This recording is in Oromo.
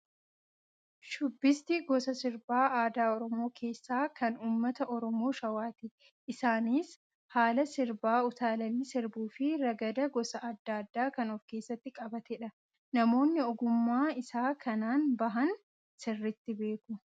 Shubbisti gosa sirba aadaa Oromoo keessaa, kan uummata Oromoo shawaati. Isaanis haala sirbaa utaalanii sirbuu fi ragada gosa addaa addaa kan of keessatti qabatedha. Namoonni ogummaa isaa kanaan bahan sirriitti beeku.